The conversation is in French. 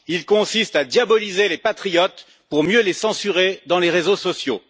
Il consiste à diaboliser les patriotes pour mieux les censurer dans les réseaux sociaux.